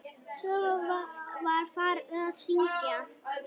Svo var farið að syngja.